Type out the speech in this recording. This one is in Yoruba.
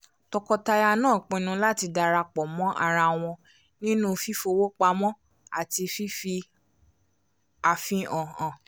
tọkọtaya náà pinnu láti darapọ̀ mọ́ ara wọn nínú fífowó pamọ́ àti fífi àfihàn hàn